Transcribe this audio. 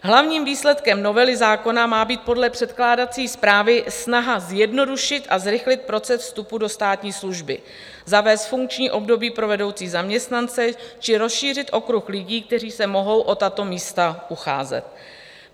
Hlavním výsledkem novely zákona má být podle předkládací zprávy snaha zjednodušit a zrychlit proces vstupu do státní služby, zavést funkční období pro vedoucí zaměstnance či rozšířit okruh lidí, kteří se mohou o tato místa ucházet.